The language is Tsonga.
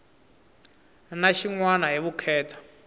na xin wana hi vukheta